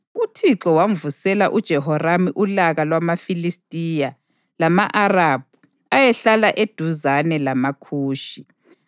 UThixo wamvusela uJehoramu ulaka lwamaFilistiya lama-Arabhu ayehlala eduzane lamaKhushi.